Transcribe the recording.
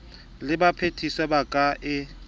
le baphedisuwa ba ka e